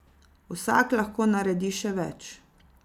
Vsak lahko naredi še več.